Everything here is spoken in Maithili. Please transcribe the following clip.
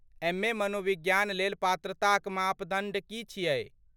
एम.ए.मनोविज्ञान लेल पात्रताक मानदण्ड की छियै?